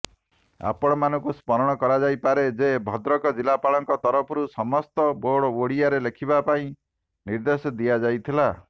ଆପଣମାନଙ୍କୁ ସ୍ମରଣ କରାଯାଇପାରେ ଯେ ଭଦ୍ରକ ଜିଲ୍ଲାପାଳଙ୍କ ତରଫରୁ ସମସ୍ତ ବୋର୍ଡ଼ ଓଡ଼ିଆରେ ଲେଖିବା ପାଇଁ ନିର୍ଦ୍ଦେଶ ଦିଆଯାଇଥିଲା